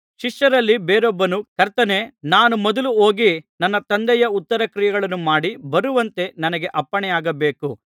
ಶಿಷ್ಯರಲ್ಲಿ ಬೇರೊಬ್ಬನು ಕರ್ತನೇ ನಾನು ಮೊದಲು ಹೋಗಿ ನನ್ನ ತಂದೆಯ ಉತ್ತರಕ್ರಿಯೆಗಳನ್ನು ಮಾಡಿ ಬರುವಂತೆ ನನಗೆ ಅಪ್ಪಣೆಯಾಗಬೇಕು ಅನ್ನಲಾಗಿ